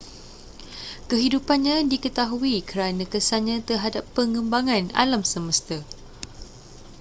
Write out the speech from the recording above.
kehidupannnya diketahui kerana kesannya terhadap pengembangan alam semesta